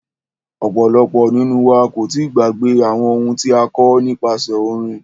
Ọ̀pọ̀lọpọ̀ nínú wa kò tíì gbàgbé àwọn ohun tí a kọ́ nípasẹ orin.